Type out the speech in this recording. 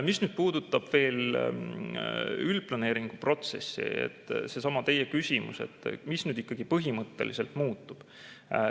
Mis nüüd puudutab veel üldplaneeringu protsessi – seesama teie küsimus, mis nüüd ikkagi põhimõtteliselt muutub.